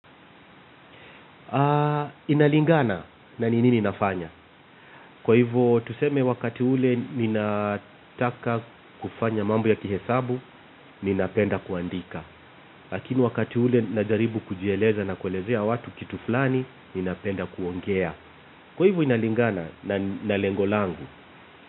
Inalingana na nini ninafanya. Kwa hivo, tuseme wakati ule ninataka kufanya mambo ya kihesabu ninapenda kuandika. Lakini wakati ule ninajaribu kujieleza na kuelezea watu kitu fulani, ninapenda kuongea. Kwa hivo inalingana na lengo langu.